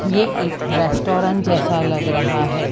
ये एक रेस्टोरेंट जैसा लग रहा है।